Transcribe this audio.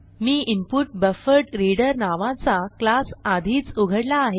मी input buffered reader नावाचा class आधीच उघडला आहे